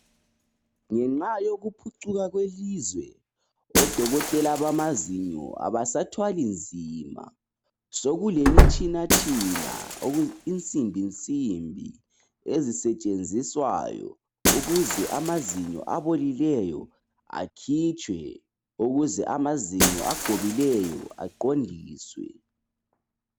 Ngenxa yokuphucuka kwelizwe odokotela bamazinyo abasathwali nzima sokulemitshinatshina insimbinsimbi ezisetshenziswayo ukuze amazinyo abolileyo akhitshwe ukuze mazinyo agobileyo aqondiswe